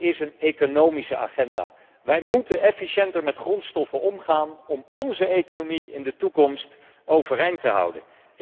Dit is een economische agenda. Wij moeten efficiënter met grondstoffen omgaan om onze economie in de toekomst overeind te houden.